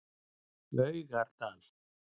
Laugardal